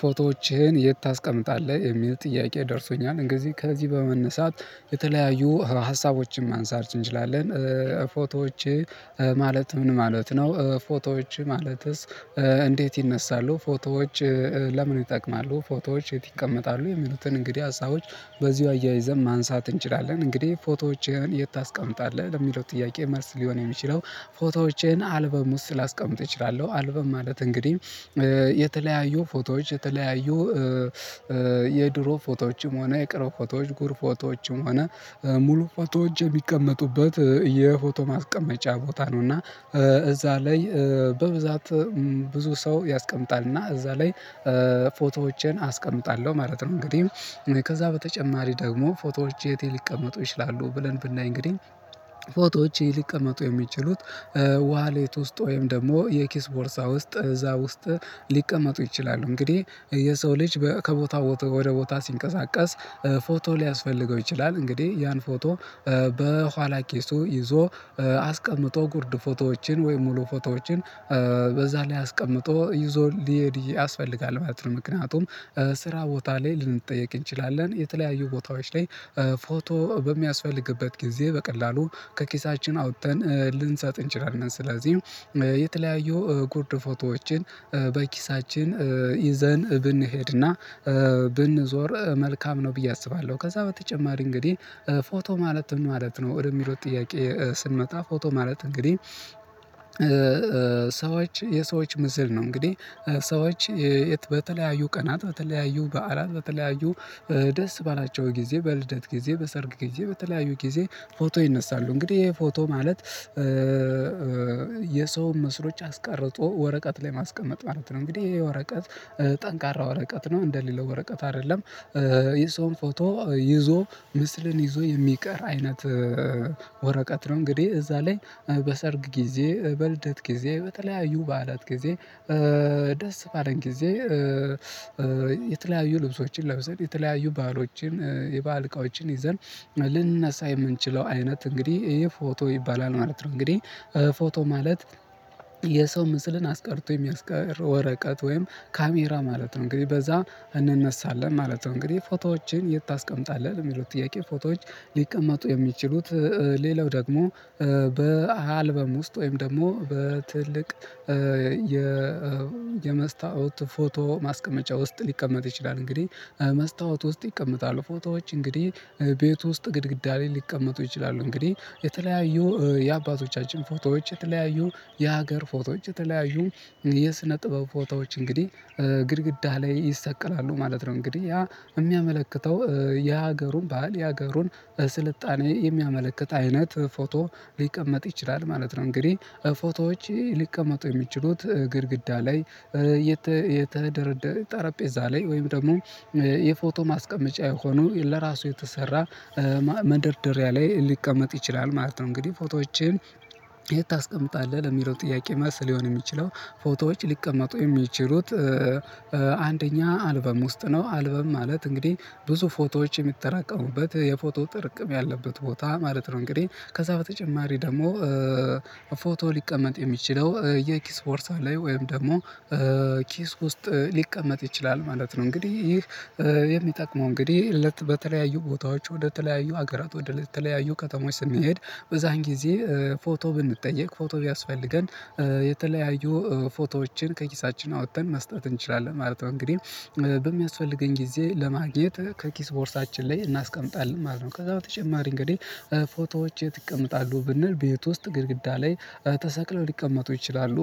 ፎቶዎችህን የት ታስቀምጣለህ የሚል ጥያቄ ደርሶኛል እንግዚህ ከዚህ በመነሳት የተለያዩ ሀሳቦችን ማንሳት እንችላለን ፎቶዎች ማለት ምን ማለት ነው? ፎቶዎች ማለትስ? እንዴት ይነሳሉ ፎቶዎች ለምን ይጠቅማሉ ፎቶዎች የት ይቀመጣሉ የሚሉትን እንግዲህ ሀሳቦች በዚሁ አያይዘን ማንሳት እንችላለን። እንግዲህ ፎቶዎችን የት ታስቀምጣለህ ለሚለው ጥያቄ መልስ ሊሆን የሚችለው ፎቶዎቼን አልበም ውስጥ ላስቀምጥ እችላለሁ። አልበም ማለት እንግዲህ የተለያዩ ፎቶዎች የተለያዩ የድሮ ፎቶዎችም ሆነ የቅሮ ፎቶዎች ጉር ፎቶዎችም ሆነ ሙሉ ፎቶዎች እጅ የሚቀመጡበት የፎቶ ማስቀመጫ ቦታ ነው እና እዛ ላይ በብዛት ብዙ ሰው ያስቀምጣልና እዛ ላይ ፎቶዎቼን አስቀምጣለሁ ማለት ነው። እንግዲህ ከዛ በተጨማሪ ደግሞ ፎቶዎች የት ሊቀመጡ ይችላሉ ብለን ብናይ እንግዲህ ፎቶዎች የሊቀመጡ የሚችሉት ዋሌት ውስጥ ወይም ደግሞ የኪስ ቦርሳ ውስጥ እዛ ውስጥ ሊቀመጡ ይችላሉ። እንግዲህ የሰው ልጅ በ ከቦታው ወደ ቦታ ሲንቀሳቀስ ፎቶ ሊያስፈልገው ይችላል እንግዲህ ያን ፎቶ በኋላ ኬሱ ይዞ አስቀምጦ ጉርድ ፎቶዎችን ወይም ሙሉ ፎቶዎችን በዛ ላይ አስቀምጦ ይዞ ሊሄድ ያስፈልጋል ማለት ነው። ምክንያቱም ስራ ቦታ ላይ ልንጠየቅ እንችላለን የተለያዩ ቦታዎች ላይ ፎቶ በሚያስፈልግበት ጊዜ በቀላሉ ከኪሳችን አውጥተን ልንሰጥ እንችላለን ስለዚህ የተለያዩ ጉርድ ፎቶዎችን በኪሳችን ይዘን ብንሄድና ብንዞር መልካም ነው ብዬ አስባለሁ። ከዛ በተጨማሪ እንግዲህ ፎቶ ማለት ምን ማለት ነው ወደሚለው ጥያቄ ስንመጣ ፎቶ ማለት እንግዲህ ሰዎች የሰዎች ምስል ነው። እንግዲህ ሰዎች በተለያዩ ቀናት በተለያዩ በዓላት በተለያዩ ደስ ባላቸው ጊዜ በልደት ጊዜ በሰርግ ጊዜ በተለያዩ ጊዜ ፎቶ ይነሳሉ እንግዲህ ይሄ ፎቶ ማለት የሰው መስሎች አስቀርጦ ወረቀት ላይ ማስቀመጥ ማለት ነው። እንግዲህይህ የወረቀት ጠንካራ ወረቀት ነው እንደሌለው ወረቀት አይደለም። የሰውን ፎቶ ይዞ ምስልን ይዞ የሚቀር አይነት ወረቀት ነው። እንግዲህ እዛ ላይ በሰርግ ጊዜ በልደት ጊዜ በተለያዩ በዓላት ጊዜ ደስ ባለን ጊዜ የተለያዩ ልብሶችን ለብሰን የተለያዩ ባህሎችን የባህል እቃዎችን ይዘን ልንነሳ የምንችለው አይነት እንግዲህ ይሄ ፎቶ ይባላል ማለት ነው። እንግዲህ ፎቶ ማለት የሰው ምስልን አስቀርቶ የሚያስቀር ወረቀት ወይም ካሜራ ማለት ነው እንግዲህ በዛ እንነሳለን ማለት ነው። እንግዲህ ፎቶዎችን የት ታስቀምጣለህ የሚሉት ጥያቄ ፎቶዎች ሊቀመጡ የሚችሉት ሌላው ደግሞ በአልበም ውስጥ ወይም ደግሞ በትልቅ የ የመስታወት ፎቶ ማስቀመጫ ውስጥ ሊቀመጥ ይችላል እንግዲህ መስታወት ውስጥ ይቀመጣሉ ፎቶዎች እንግዲህ ቤት ውስጥ ግድግዳ ላይ ሊቀመጡ ይችላሉ። እንግዲህ የተለያዩ የአባቶቻችን ፎቶዎች የተለያዩ የሀገር ፎቶዎች የተለያዩ የስነ ጥበብ ፎቶዎች እንግዲህ ግድግዳ ላይ ይሰቀላሉ ማለት ነው እንግዲህ ያ የሚያመለክተው የሀገሩን ባህል የሀገሩን ስልጣኔ የሚያመለክት አይነት ፎቶ ሊቀመጥ ይችላል ማለት ነው። እንግዲህ ፎቶዎች ሊቀመጡ የሚችሉት ግድግዳ ላይ የተ የተደረደረ ጠረጴዛ ላይ ወይም ደግሞ የፎቶ ማስቀመጫ የሆኑ ለራሱ የተሰራ መደርደሪያ ላይ ሊቀመጥ ይችላል ማለት ነው። እንግዲህ ፎቶዎችን ታስቀምጣለህ ለሚሮጥ ጥያቄ መልስ ሊሆን የሚችለው ፎቶዎች ሊቀመጡ የሚችሉት አንደኛ አልበም ውስጥ ነው አልበም ማለት እንግዲህ ብዙ ፎቶዎች የሚተራቀሙበት የፎቶ ጥርቅም ያለበት ቦታ ማለት ነው። እንግዲህ ከዛ በተጨማሪ ደግሞ ፎቶ ሊቀመጥ የሚችለው የኪስ ቦርሳ ላይ ወይም ደግሞ ኪስ ውስጥ ሊቀመጥ ይችላል ማለት ነው። እንግዲህ ይህ የሚጠቅመው እንግዲህ በተለያዩ ቦታዎች ወደተለያዩ ሀገራት ወደተለያዩ ከተሞች ስንሄድ በዛን ጊዜ ፎቶ ብንጠየቅ ፎቶ ቢያስፈልገን የተለያዩ ፎቶዎችን ከኪሳችን አውጥተን መስጠት እንችላለን ማለት ነው። እንግዲህ በሚያስፈልገኝ ጊዜ ለማግኘት ከኪስ ቦርሳችን ላይ እናስቀምጣለን ማለት ነው ከዛ በተጨማሪ እንግዲህ ፎቶዎች የት ይቀመጣሉ ብንል ቤት ውስጥ ግድግዳ ላይ ተሰቅለው ሊቀመጡ ይችላሉ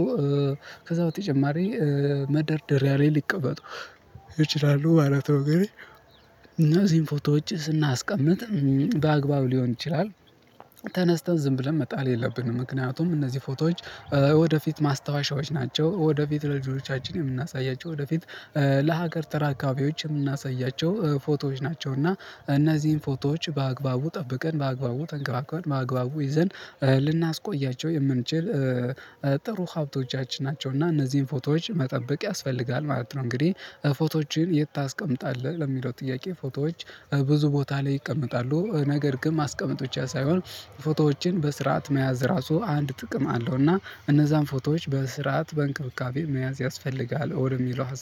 ከዛ በተጨማሪ መደርደሪያ ላይ ሊቀመጡ ይችላሉ ማለት ነው። ግን እነዚህን ፎቶዎች ስናስቀምጥ በአግባቡ ሊሆን ይችላል ተነስተን ዝም ብለን መጣል የለብንም ምክንያቱም እነዚህ ፎቶዎች ወደፊት ማስታወሻዎች ናቸው። ወደፊት ለልጆቻችን የምናሳያቸው ወደፊት ለሀገር ተራ አካባቢዎች የምናሳያቸው ፎቶዎች ናቸው። እና እነዚህን ፎቶዎች በአግባቡ ጠብቀን በአግባቡ ተንገባገቡን በአግባቡ ይዘን ልናስቆያቸው የምንችል ጥሩ ሀብቶቻችን ናቸው እና እነዚህን ፎቶዎች መጠበቅ ያስፈልጋል ማለት ነው። እንግዲህ ፎቶዎችን የት ታስቀምጣለህ ለሚለው ጥያቄ ፎቶዎች ብዙ ቦታ ላይ ይቀመጣሉ ነገር ግን ማስቀመጥ ብቻ ሳይሆን ፎቶዎችን በስርዓት መያዝ ራሱ አንድ ጥቅም አለው እና እነዛን ፎቶዎች በስርዓት በእንክብካቤ መያዝ ያስፈልጋል ወደሚለው ሀሳብ